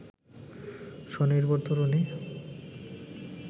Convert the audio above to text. স্বনির্ভর তরুণী